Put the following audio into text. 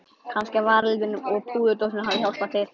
Kannski að varaliturinn og púðurdósin hafi hjálpað til.